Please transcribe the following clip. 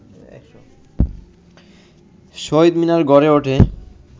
শহীদ মিনার গড়ে ওঠে